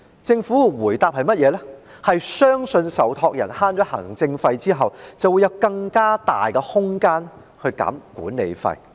政府的回應是，相信受託人在節省行政費後便會有更大的空間下調管理費用。